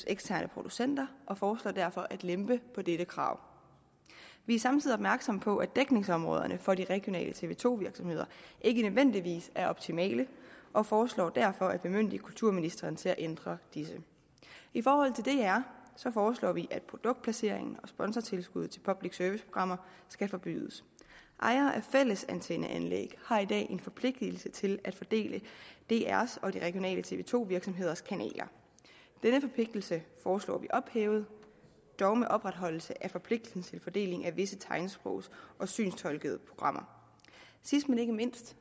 eksterne producenter og vi foreslår derfor at lempe på dette krav vi er samtidig opmærksom på at dækningsområderne for de regionale tv to virksomheder ikke nødvendigvis er optimale og foreslår derfor at bemyndige kulturministeren til at ændre disse i forhold til dr foreslår vi at produktplacering og sponsortilskud til public service programmer skal forbydes ejere af fællesantenneanlæg har i dag en forpligtelse til at fordele drs og de regionale tv to virksomheders kanaler denne forpligtelse foreslår vi ophævet dog med opretholdelse af forpligtelsen til fordelingen af visse tegnsprogs og synstolkede programmer sidst men ikke mindst